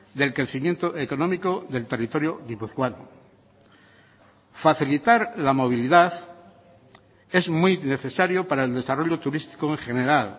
del crecimiento económico del territorio guipuzcoano facilitar la movilidad es muy necesario para el desarrollo turístico en general